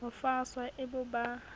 ho faswa e bo ba